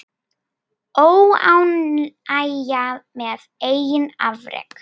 Óánægja með eigin afrek.